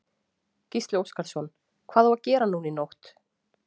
Gísli Óskarsson: Hvað á að gera núna í nótt?